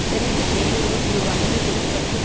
செனட்டின் வெளியுறவு குழுவானது புதன் மற்றும்